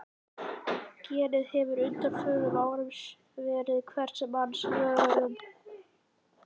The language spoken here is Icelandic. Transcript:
Genið hefur á undanförnum árum verið á hvers manns vörum.